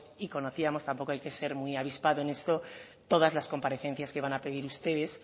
y conocíamos tampoco hay que ser muy avispado en esto todas las comparecencias que iban a pedir ustedes